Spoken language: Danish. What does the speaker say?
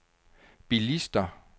bilister